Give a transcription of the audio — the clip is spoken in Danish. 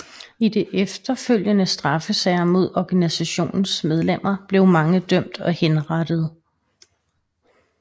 I de efterfølgende straffesager mod organisationens medlemmer blev mange dømt og henrettet